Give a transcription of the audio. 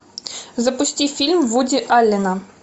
запусти фильм вуди аллена